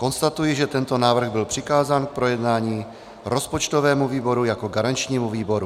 Konstatuji, že tento návrh byl přikázán k projednání rozpočtovému výboru jako garančnímu výboru.